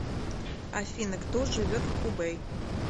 афина кто живет в хубэй